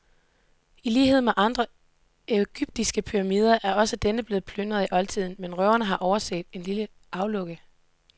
I lighed med andre egyptiske pyramider er også denne blevet plyndret i oldtiden, men røverne har overset det lille aflukke.